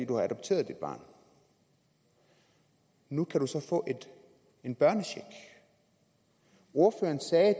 du har adopteret det barn nu kan du så få en børnecheck ordføreren sagde at